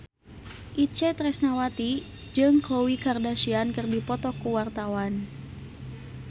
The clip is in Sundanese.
Itje Tresnawati jeung Khloe Kardashian keur dipoto ku wartawan